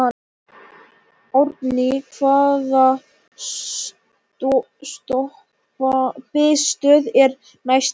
Árný, hvaða stoppistöð er næst mér?